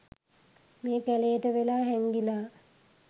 මේ කැලේට වෙලා හැංගිලා